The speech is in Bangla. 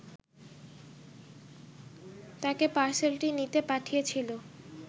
তাকে পার্সেলটি নিতে পাঠিয়েছিল